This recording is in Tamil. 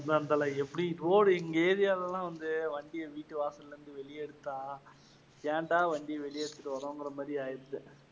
road உ எங்க area ல எல்லாம் வந்து வண்டிய வீட்டு வாசல்ல இருந்து வெளிய எடுத்தா, ஏண்டா வண்டிய வெளிய எடுத்துட்டு வரோம்கிற மாதிரி ஆயிடுச்சு.